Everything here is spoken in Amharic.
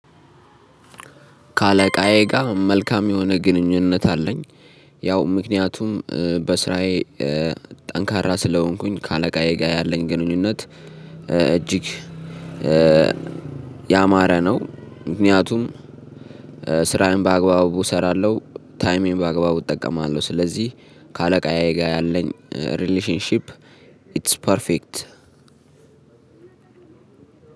ከአለቃዬ ጋር መልካም የሆነ ግንኙነት አለኝ። ያው ምክንያቱም በስራዬ ጠንካራ ስለሆንኩኝ ከአለቃዬ ጋር ያለኝ ግንኙነት እጅግ ያማረ ነው። ምክንያቱም ስራዬን በአግባቡ እሰራለሁ ታይሜን በአግባቡ እጠቀማለሁ። ስለዚህ ከአለቃዬ ጋር ያለኝ 'ሪሌሽንሺፕ ኢትስ ፐርፌክት'።